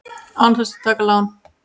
Án þess að taka lán!